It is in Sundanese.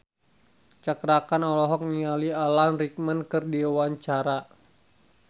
Cakra Khan olohok ningali Alan Rickman keur diwawancara